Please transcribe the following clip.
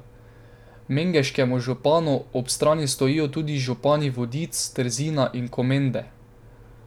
Mengeškemu županu ob strani stojijo tudi župani Vodic, Trzina in Komende.